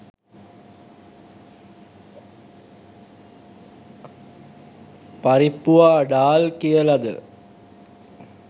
පරිප්පුවා ඩාල් කියලද